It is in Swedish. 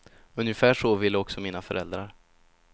Ungefär så ville också mina föräldrar.